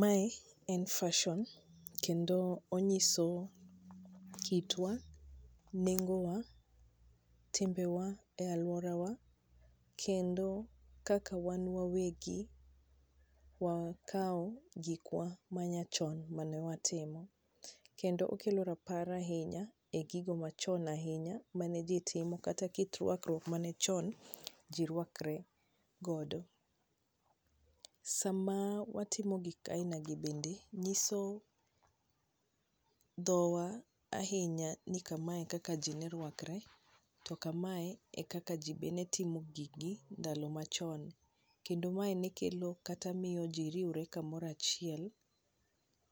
Mae en fashion kendo onyiso kitwa, nengowa, timbewa e alwora wa, kendo kaka wan wawegi wakao gikwa ma nyachon mane watimo. Kendo okelo rapar ahinya e gigo machon ahinya mane ji timo kata kit rwakruok mane chon ji rwakre godo. Sama watim gik kaina gi bende, nyiso dhowa ahinya ni kamae e kaka ji ne rwakre, to kamae e kaka ji be netimo gik gi e ndalo machon. Kendo mae ne kelo kata miyo ji riwre kamoro achiel,